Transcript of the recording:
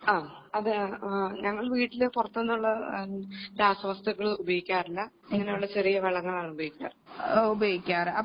അതെ ഞങ്ങള് വീട്ടിൽ പുറത്തുനിന്നുള്ള രാസവസ്തുക്കൾ ഉപയോഗിക്കാറില്ല ഇങ്ങനെയുള്ള ചെറിയ വളങ്ങളാണ് ഉപയോഗിക്കാറ്